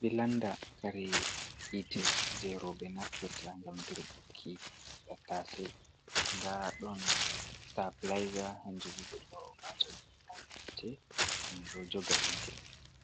Bilanda Kare hite jei roɓe Naftirta ngam dirɓuki Tattasei nda ɗon Sitapilaiza hanjubo beɗo wataɗum'on ngam joga hite.